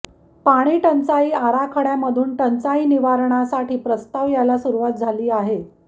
पाणीटंचाई आराखडयामधून टंचाई निवारणासाठी प्रस्ताव यायला सुरुवात झाली आहे